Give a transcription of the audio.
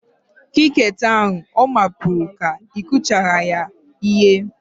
Kirikeeti ahu ọ mapụru ka ị kụchara ya ihe?